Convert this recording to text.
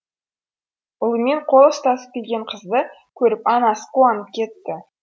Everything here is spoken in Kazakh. ұлымен қол ұстасып келген қызды көріп анасы қуанып кетті